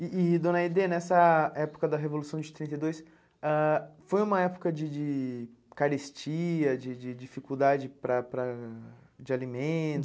E e, dona Aide, nessa época da Revolução de três e dois, ãh foi uma época de de carestia, de de dificuldade para para de alimentos?